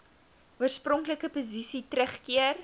oorspronklike posisie teruggekeer